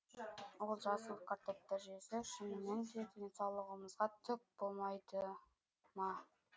ол жасыл картопты жесек шыныменде денсаулығымызға түк болмайды ма